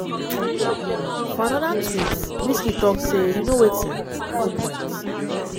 for anoda tweet wizkid tok say "you know wetinno point.